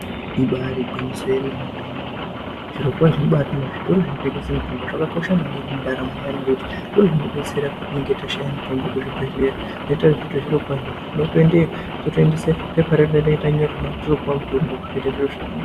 Ibaari gwinyiso yemenemene, zvirokwazvo zvitoro zvinotengesa mitombo, zvakakosha maningi mundaramo yedu ngekuti ndozvinotidetsera patinenge tatama mitombo muzvibhedhlera, tondoesa pepa redu ratinenge tanyorerwa totopuwe mitombo, toite zvakanaka.